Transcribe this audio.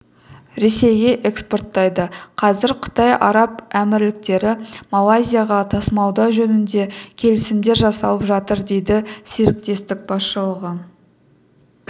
ресейге экспорттайды қазір қытай араб әмірліктері малайзияға тасымалдау жөнінде келісімдер жасалып жатыр дейді серіктестік басшылығы